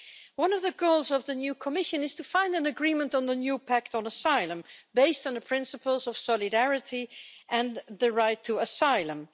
One of the goals of the new Commission is to find an agreement on the new pact on asylum, based on the principles of solidarity and the right to asylum.